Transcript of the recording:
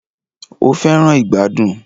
O fẹràn ìgbàdùn.